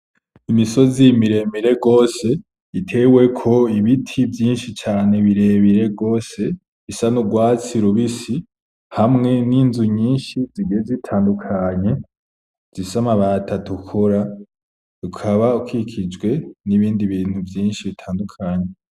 Imisozi miremire gose iteweko ibiti vyinshi cane birebire gose bisa n'urwatsi rubisi hamwe n'inzu nyinshi zigiye zitandukanye zifise amabati atukura ukaba ukikijwe n'ibindi bintu vyinshi bitandukanye.